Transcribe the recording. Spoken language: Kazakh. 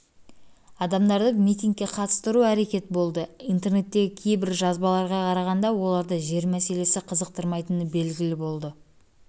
адамдарды митингке қатыстыру әрекеті болды интернеттегі кейбір жазбаларға қарағанда оларды жер мәселесі қызықтырмайтыны белгілі болды оларды